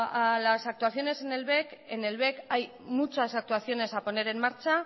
a las actuaciones en el bec en el bec hay muchas actuaciones a poner en marcha